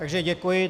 Takže děkuji.